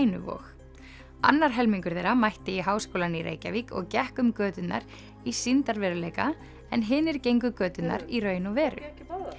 og Kænuvog annar helmingur þeirra mætti í Háskólann í Reykjavík og gekk um göturnar í sýndarveruleika en hinir gengu göturnar í raun og veru